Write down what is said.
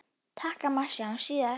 Takk amma, sjáumst síðar.